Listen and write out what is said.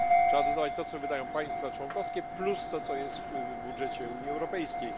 Trzeba dodawać to, co wydają państwa członkowskie, plus to, co jest w budżecie Unii Europejskiej.